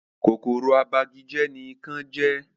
Kòkòrò abagijẹ́ ní ikán jẹ́